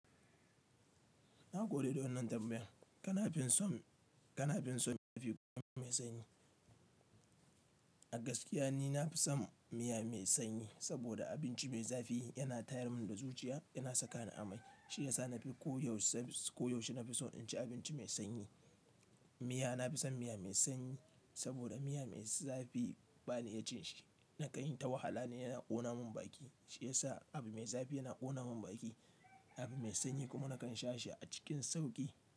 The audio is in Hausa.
Na gode da wannan tambayan. Kana fi son, kana fin son miya fi kuma mai sanyi. A gaskiya ni na fi son miya mai sanyi saboda abinci mai zafi yana tayar mun da zuciya, yana saka ni amai. Shi ya sa na fi ko yaushe, ko yaushe na fi so in ci abinci mai sanyi. Miya na fi son miya mai sanyi saboda miya mai zafi ba ni iya ci shi. Na kai ta wahala ne yana ƙona mun baki. Shi ya sa abu mai zafi yana ƙona mun baki. Abu mai sanyi kuma na kan sha shi a cikin sauƙi.